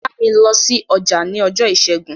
Bámi lọ sí ọjà ní ọjọ́ ìṣẹ́gun!